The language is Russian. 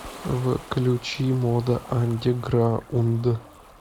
включи мода андерграунд